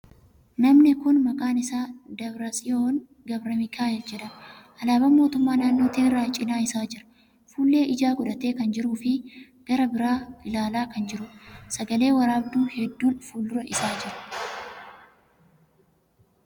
Namni kuni maqaan isaa Dabratsiyoon Gabramikaa'el jedhama. Alaaban mootummaa naannoo Tigraay cinaa isaa jira. Fuullee ijaa godhatee kan jiruu fi gara biraa ilaalaa kan jiruudha. Sagale waraabduu hedduun fuuldura isaa jiru.